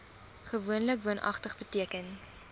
gewoonlik woonagtig beteken